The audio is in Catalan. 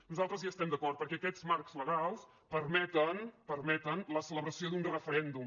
nosaltres hi estem d’acord perquè aquests marcs legals permeten permeten la celebració d’un referèndum